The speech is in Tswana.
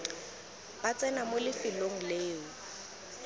ba tsena mo lefelong leo